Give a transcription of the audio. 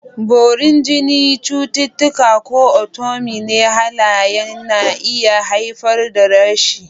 Borin jini, cututtuka, ko autoimmune halayen na iya haifar da rashes.